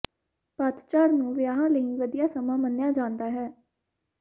ਪਤਝੜ ਨੂੰ ਵਿਆਹਾਂ ਲਈ ਵਧੀਆ ਸਮਾਂ ਮੰਨਿਆ ਜਾਂਦਾ ਹੈ